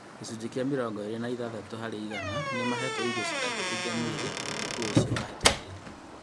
Gĩcunjĩ kĩa mĩrongo ĩĩrĩ na ithathatu harĩ igana nĩmahetwo irio citangĩteithia mwĩrĩ ũtukũ ũcio wahetũkĩte